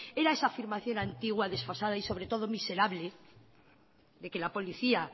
era esa afirmación antigua desfasada y sobre todo miserable de que la policía